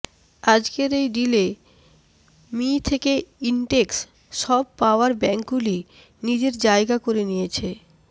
আজকের এই ডিলে মি থেকে ইন্টেক্স সব পাওয়ার ব্যাঙ্ক গুলি নিজের জায়গা করে নিয়েছে